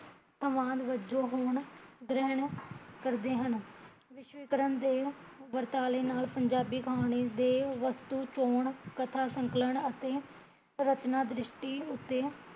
ਵਜੋਂ ਹੋਣ ਗ੍ਰਹਣ ਕਰਦੇ ਹਨ, ਵਿਸ਼ਵੀਕਰਨ ਦੇ ਵਰਤਾਲੇ ਨਾਲ਼, ਪੰਜਾਬੀ ਕਹਾਣੀ ਦੇ ਵਸਤੂ ਚੋਣ, ਕਥਾ ਸੰਕਲਨ ਅਤੇ ਰਚਨਾ ਦ੍ਰਿਸ਼ਟੀ ਉੱਤੇ